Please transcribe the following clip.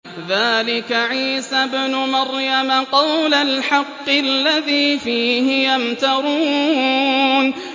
ذَٰلِكَ عِيسَى ابْنُ مَرْيَمَ ۚ قَوْلَ الْحَقِّ الَّذِي فِيهِ يَمْتَرُونَ